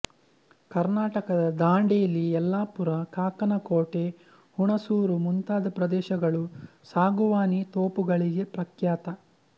ಕರ್ನಾಟಕದ ದಾಂಡೇಲಿ ಯಲ್ಲಾಪುರ ಕಾಕನಕೋಟೆ ಹುಣಸೂರು ಮುಂತಾದ ಪ್ರದೇಶಗಳು ಸಾಗುವಾನಿ ತೋಪುಗಳಿಗೆ ಪ್ರಖ್ಯಾತ